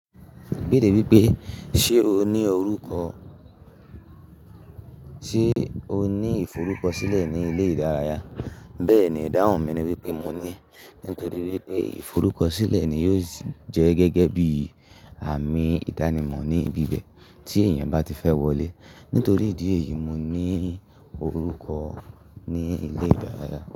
Ibeere wípé, ṣe o ní orúkọ, ṣe o ní ìforúkọ sílẹ̀ ní ilé ìdárayá? Bẹ́ẹ̀ni, ìdáhùn mi ni wípé mo ní. Nítorí wípé ìforúkọ sílẹ̀ ni yóò jẹ́ gẹ́gẹ́ bí àmì ìdánimọ̀ ní ibi bẹ̀ tí èèyàn bá ti fẹ́ wọlé. Nítorí ìdí èyí, mo ní orúkọ ní ilé ìdárayá.